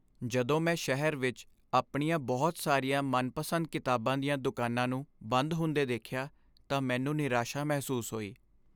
ਜਦੋਂ ਮੈਂ ਸ਼ਹਿਰ ਵਿੱਚ ਆਪਣੀਆਂ ਬਹੁਤ ਸਾਰੀਆਂ ਮਨਪਸੰਦ ਕਿਤਾਬਾਂ ਦੀਆਂ ਦੁਕਾਨਾਂ ਨੂੰ ਬੰਦ ਹੁੰਦੇ ਦੇਖਿਆ ਤਾਂ ਮੈਨੂੰ ਨਿਰਾਸਾ ਮਹਿਸੂਸ ਹੋਈ।